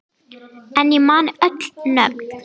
En ég man öll nöfn.